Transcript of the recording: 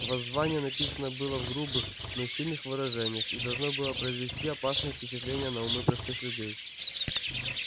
воззвание написано было в грубых но сильных выражениях и должно было произвести опасное впечатление на умы простых людей